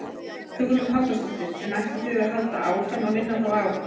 Hugrún Halldórsdóttir: En ætlið þið að halda áfram að minna þá á?